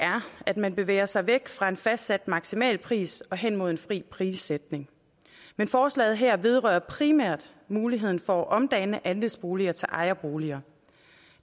at man bevæger sig væk fra en fastsat maksimalpris og hen imod en fri prissætning men forslaget her vedrører primært muligheden for at omdanne andelsboliger til ejerboliger